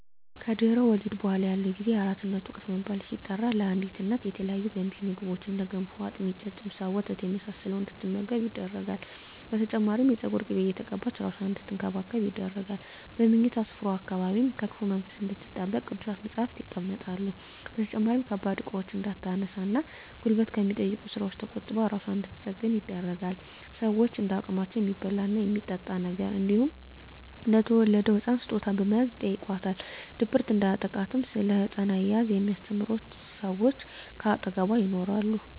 ከድህረ ወሊድ በኃላ ያለው ጊዜ የአራስነት ወቅት በመባል ሲጠራ ለአዲስ እናት የተለያዩ ገንቢ ምግቦች እንደ ገንፎ፣ አጥሚት፣ ጨጨብሳ፣ ወተት የመሳሰለውን እንድትመገብ ይደረጋል። በተጨማሪም የፀጉር ቅቤ እየተቀባች እራሷን አንድትንከባከብ ይደረጋል። በምኝታ ስፍራዋ አካባቢም ከክፉ መንፈስ እንድትጠበቅ ቅዱሳት መፀሃፍት ይቀመጣሉ። በተጨማሪም ከባድ እቃዎችን እንዳታነሳ እና ጉልበት ከሚጠይቁ ስራወች ተቆጥባ እራሷን እንድንትጠግን ይደረጋል። ሸወችም እንደ አቅማቸው የሚበላ እና የሚጠጣ ነገር እንዲሁም ለተወለደዉ ህፃን ስጦታ በመያዝ ይጨይቋታል። ድብርት እንዲያጠቃትም እና ስለ ህፃን አያያዝ የሚስተምሯት ሰወች ከአጠገቧ ይኖራሉ።